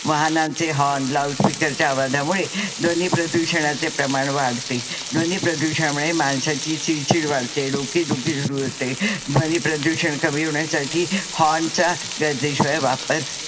वाहनांचे होर्न, लाउडस्पीकरच्या आवाजामुळे ध्वनी प्रदूषणाचे प्रमाण वाढते. ध्वनी प्रदूषणामुळे माणसाची चिडचिड वाढते डोके दुखी सुरु होते. ध्वनी प्रदूषण कमी होण्यासाठी होर्नचा गर्जेशिवाय वापर